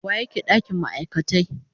wa yake dakin ma'aikatai.